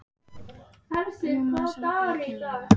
Rúmeníu, Slóvakíu, Kína, Tyrklandi og víðar.